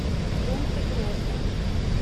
понта гроса